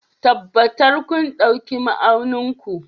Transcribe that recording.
Tabbatar kun ɗauki ma'aunin ku